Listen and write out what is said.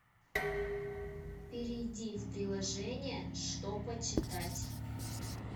перейди в приложение что почитать